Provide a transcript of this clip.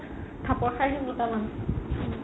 থাপপৰ খাই আহিম দুটামান